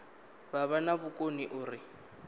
vha vha na vhukoni uri